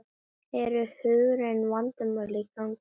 Eru hugræn vandamál í gangi?